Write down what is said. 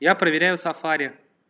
я проверяю сафари